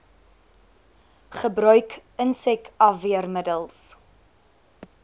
gebruik insek afweermiddels